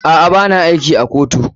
A'a, ba na aiki a kotu.